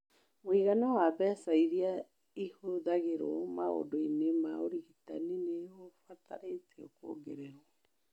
Mũigana wa mbeca iria ihũthagĩrũo maũndũ-inĩ ma ũrigitani ni ũrabatara kũongererwo.